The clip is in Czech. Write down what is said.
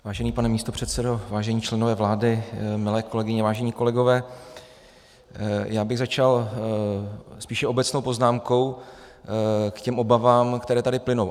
Vážený pane místopředsedo, vážení členové vlády, milé kolegyně, vážení kolegové, já bych začal spíše obecnou poznámkou k těm obavám, které tady plynou.